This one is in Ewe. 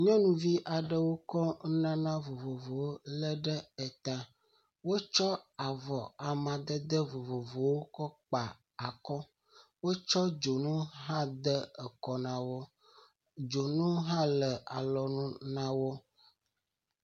Nyɔnuvi aɖewo kɔ nunana vovovowo lé ɖe eta, wotsɔ dzonu hã de ekɔ na wo, dzonu hã le alɔnu na wo.